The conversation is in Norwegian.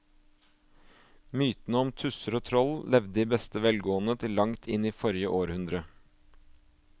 Mytene om tusser og troll levde i beste velgående til langt inn i forrige århundre.